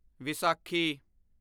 Vaisakhi